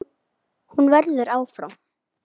Hún verður áfram.